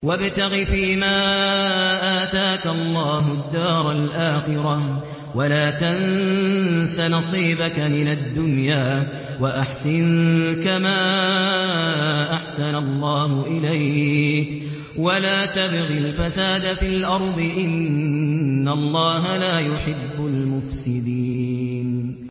وَابْتَغِ فِيمَا آتَاكَ اللَّهُ الدَّارَ الْآخِرَةَ ۖ وَلَا تَنسَ نَصِيبَكَ مِنَ الدُّنْيَا ۖ وَأَحْسِن كَمَا أَحْسَنَ اللَّهُ إِلَيْكَ ۖ وَلَا تَبْغِ الْفَسَادَ فِي الْأَرْضِ ۖ إِنَّ اللَّهَ لَا يُحِبُّ الْمُفْسِدِينَ